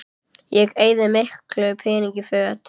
Ég eyði ekki miklum peningum í föt